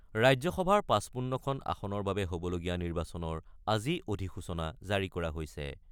ৰাজ্যসভাৰ ৫৫খন আসনৰ বাবে হ'বলগীয়া নিৰ্বাচনৰ আজি অধিসূচনা জাৰি কৰা হৈছে।